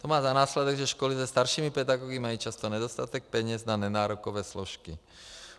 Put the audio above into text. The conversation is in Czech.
To má za následek, že školy se staršími pedagogy mají často nedostatek peněz na nenárokové složky.